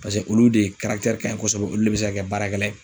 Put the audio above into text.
Paseke olu de karakitɛri kaɲi kɔsɔbɛ olu de be se ka kɛ baarakɛla ye